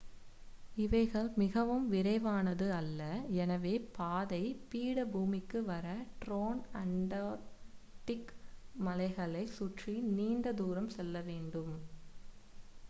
இவைகள் மிகவும் விரைவானது அல்ல எனவே பாதை பீடபூமிக்கு வர டிரான்அண்டார்க்டிக் மலைகளை சுற்றி நீண்ட தூரம் செல்ல வேண்டும்